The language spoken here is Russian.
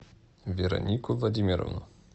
веронику владимировну